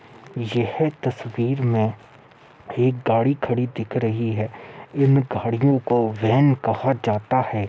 यह तस्वीर में एक गाड़ी खड़ी दिख रही है। इन गाडियों को वेन कहा जाता है।